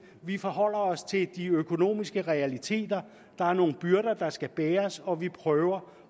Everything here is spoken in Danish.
vi forholder os til de økonomiske realiteter der er nogle byrder der skal bæres og vi prøver